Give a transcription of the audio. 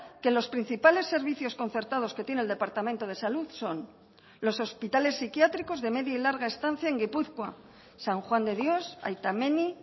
que los principales servicios concertados que tiene el departamento de salud son los hospitales psiquiátricos de media y larga estancia en gipuzkoa san juan de dios aita menni